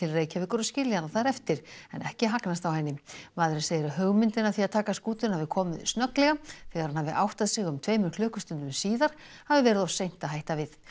Reykjavíkur og skilja hana þar eftir en ekki hagnast á henni maðurinn segir að hugmyndin að því að taka skútuna hafi komið snögglega þegar hann hafi áttað sig um tveimur klukkustundum síðar hafi verið of seint að hætta við